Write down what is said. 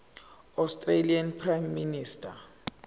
australian prime minister